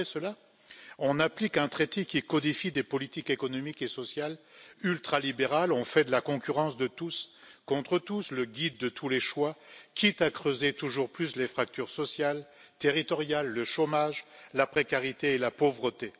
Malgré cela, on applique un traité qui codifie des politiques économiques et sociales ultralibérales, on fait de la concurrence de tous contre tous le guide de tous les choix, quitte à creuser toujours plus les fractures sociales, territoriales, le chômage, la précarité et la pauvreté.